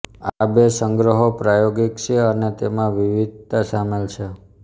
આ બે સંગ્રહો પ્રાયોગિક છે અને તેમાં વિવિધતા સામેલ છે